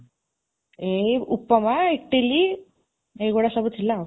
ଏଇ ଉପମା, ଇଟିଲି, ଏଇ ଗୁଡ଼ା ସବୁ ଥିଲା ଆଉ